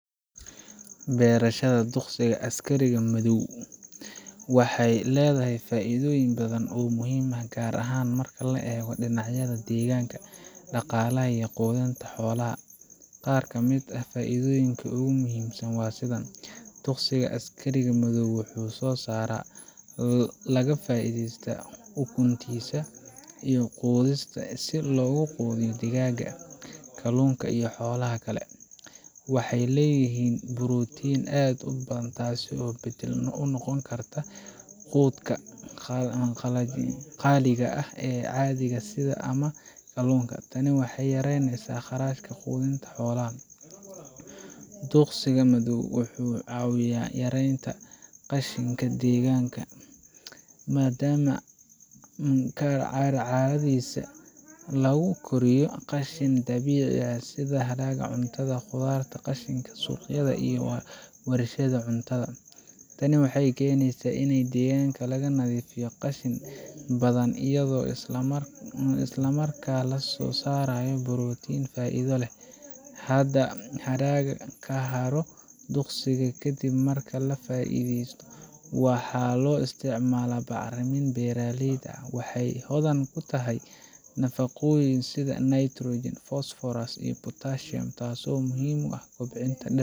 Beerashada duqsiga Askariga Madow waxay leedahay faa’iidooyin badan oo muhiim ah, gaar ahaan marka loo eego dhinacyada deegaanka, dhaqaalaha iyo quudinta xoolaha. Qaar ka mid ah faa’iidooyinka ugu muhiimsan waa sidan: Duqsiga Askariga Madow wuxuu soo saaraa laga faa’iideysto ukunihiisa iyo qudhiisa si loogu quudiyo digaagga, kalluunka iyo xoolaha kale. Waxay leeyihiin borotiin aad u badan, taasoo beddel u noqon karta quudka qaaliga ah ee caadiga ah sida soy ama kalluun bur. Tani waxay yareyneysaa kharashka quudinta xoolaha. Duqsiga madow wuxuu caawiyaa yaraynta qashinka deegaanka, maadaama caaradiisa lagu koriyo qashin dabiici ah sida hadhaaga cuntada, khudaarta, qashinka suuqyada iyo warshadaha cuntada. Tani waxay keeneysaa in deegaanka laga nadiifiyo qashin badan iyadoo isla markaa la soo saarayo borotiin faa’iido leh. Hadhaaga ka haro duqsiga kadib marka la farsameeyo waxa loo isticmaalaa bacriminta beeraleyda. Waxay hodan ku tahay nafaqooyin sida nitrogen, phosphorus iyo potassium – taasoo muhiim u ah kobcinta dhirta.